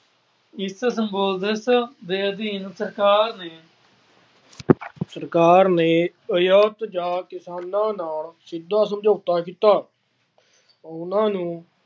ਇਸ ਸਿੰਬੋਸ਼ਸ ਦੇ ਅਧੀਨ ਸਰਕਾਰ ਸਰਕਾਰ ਨੇ ਯੂਰੋਪ ਜਾ ਵਿਦਵਾਨਾਂ ਨਾਲ ਸਿੱਧਾ ਸਮਝੋਤਾ ਕੀਤਾ। ਉਹਨਾ ਨੂੰ